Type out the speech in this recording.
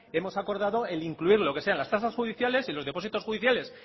hemos acordado el incluir lo que sean las tasas judiciales y los depósitos judiciales